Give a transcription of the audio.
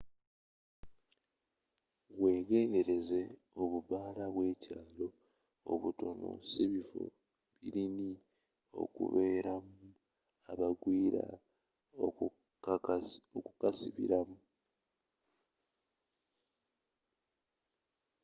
wegendereze obubaala obw'ekyaalo obutono sibifo biruni okubeeramu abagwira okukasibiramu